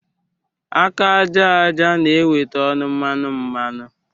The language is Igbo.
Aka àjàja na-eweta ọnụ mmanụ mmanụ